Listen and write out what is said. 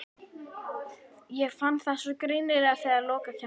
Ég fann það svo greinilega þegar lokakeppnin var.